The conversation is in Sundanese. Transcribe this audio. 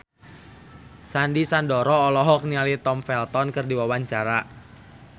Sandy Sandoro olohok ningali Tom Felton keur diwawancara